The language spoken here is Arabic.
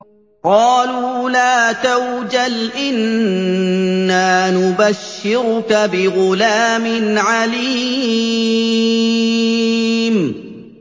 قَالُوا لَا تَوْجَلْ إِنَّا نُبَشِّرُكَ بِغُلَامٍ عَلِيمٍ